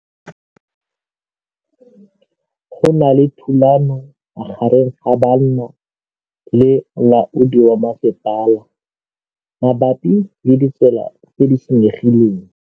Go na le thulanô magareng ga banna le molaodi wa masepala mabapi le ditsela tse di senyegileng.